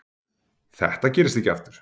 Þetta gerist ekki aftur.